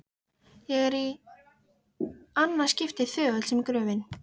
Ég er- í annað skiptið- þögull sem gröfin.